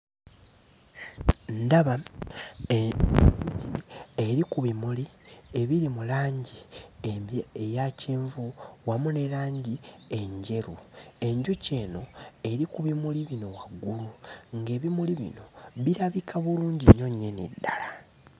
Ndaba enjuki eri ku bimuli ebiri mu langi eya kyenvu wamu ne langi enjeru. Enjuki eno eri ku bimuli bino waggulu, ng'ebimuli bino birabika bulungi nnyo nnyini ddala.